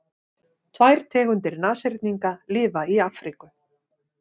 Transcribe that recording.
tvær tegundir nashyrninga lifa í afríku